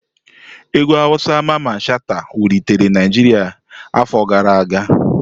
Egwu awusa Mamman Shata wulitere Naijiria afọ gara aga.